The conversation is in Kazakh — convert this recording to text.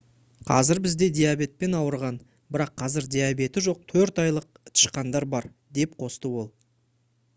«қазір бізде диабетпен ауырған бірақ қазір диабеті жоқ 4 айлық тышқандар бар» - деп қосты ол